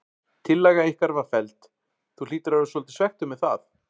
Tillaga ykkar var felld, þú hlýtur að vera svolítið svekktur með það?